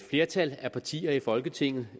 flertal af partier i folketinget